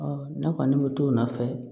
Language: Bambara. ne kɔni bɛ t'o nɔfɛ